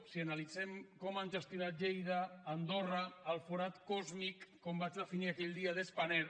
si analitzem com han gestionat lleida andorra el forat còsmic com vaig definir aquell dia spanair